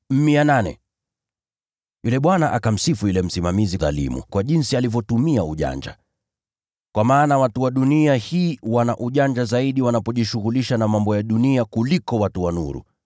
“Yule bwana akamsifu yule msimamizi dhalimu kwa jinsi alivyotumia ujanja. Kwa maana watu wa dunia hii wana ujanja zaidi wanapojishughulisha na mambo ya dunia kuliko watu wa nuru.